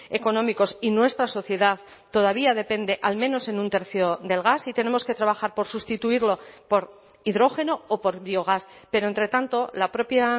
económicos y nuestra sociedad todavía depende al menos en un tercio del gas y tenemos que trabajar por sustituirlo por hidrógeno o por biogás pero entre tanto la propia